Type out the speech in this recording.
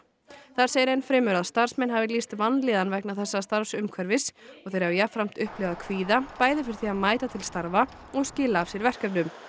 þar segir enn fremur að starfsmenn hafi lýst vanlíðan vegna þessa starfsumhverfis og þeir hafa jafnframt upplifað kvíða bæði fyrir því að mæta til starfa og skila af sér verkefnum